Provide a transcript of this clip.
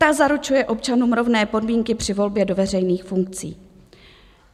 Ta zaručuje občanům rovné podmínky při volbě do veřejných funkcí.